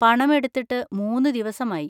പണം എടുത്തിട്ട് മൂന്ന് ദിവസമായി.